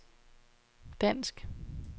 dansk